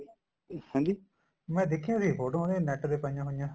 ਇਹ ਹੇਂਜੀ ਮੈਂ ਦੇਖਿਆ ਸੀ ਫੋਟੋਆਂ ਉਹਦੀ NET ਤੇ ਪਾਈਆਂ ਹੋਈਆਂ